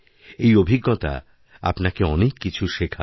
এই অভিজ্ঞতা আপনাকে অনেক কিছুশেখাবে